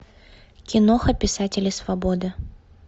киноха писатели свободы